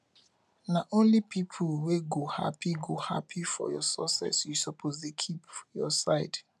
na only pipu wey go hapi go hapi for your success you suppose dey keep your side